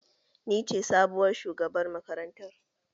Ni ce sabuwar shugabar makarantar